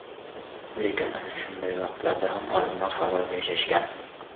Lekin ana shunday vaqtlarda ham odamlar halol yashashgan.